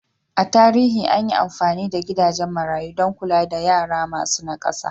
A tarihi an yi amfani da gidajen marayu don kula da yara masu nakasa.